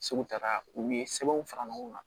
Segu tara u ye sɛbɛnw fara ɲɔgɔn kan